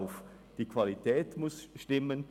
– Die Qualität muss stimmen.